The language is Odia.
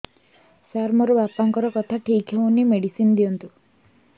ସାର ମୋର ବାପାଙ୍କର କଥା ଠିକ ହଉନି ମେଡିସିନ ଦିଅନ୍ତୁ